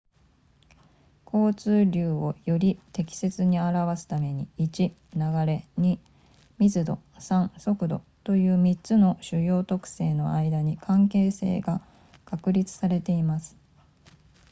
交通流をより適切に表すために、1流れ、2密度、3速度という3つの主要特性の間に関係性が確立されています